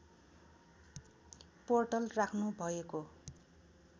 portal राख्नुभएको